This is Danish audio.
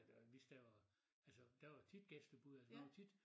Øh hvis der var altså der var tit gæstebud og sådan noget tit